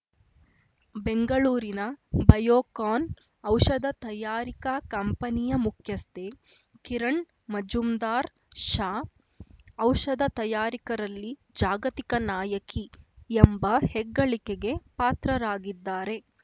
ಬೆಂಗಳೂರಿನ ಬಯೋಕಾನ್‌ ಔಷಧ ತಯಾರಿಕಾ ಕಂಪನಿಯ ಮುಖ್ಯಸ್ಥೆ ಕಿರಣ್‌ ಮಜುಂದಾರ್‌ ಶಾ ಔಷಧ ತಯಾರಿಕರಲ್ಲಿ ಜಾಗತಿಕ ನಾಯಕಿ ಎಂಬ ಹೆಗ್ಗಳಿಕೆಗೆ ಪಾತ್ರರಾಗಿದ್ದಾರೆ